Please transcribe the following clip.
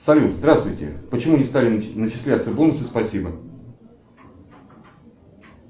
салют здравствуйте почему не стали начисляться бонусы спасибо